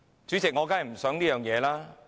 主席，我當然不想這樣。